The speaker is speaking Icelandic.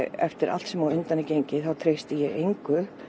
eftir allt sem á undan er gengið treysti ég engu